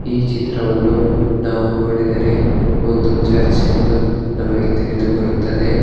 ಈ ಚಿತ್ರವನ್ನು ನಾವು ನೋಡಿದರೆ ಒಂದು ಚರ್ಚ ಎಂದು ನಮಗೆ ತಿಳಿದು ಬರುತ್ತದೆ.